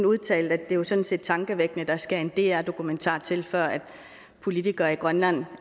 udtalte at det jo sådan set er tankevækkende at der skal en dr dokumentar til før politikere i grønland